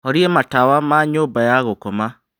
Horia matawa ma nyũmba ya gũkoma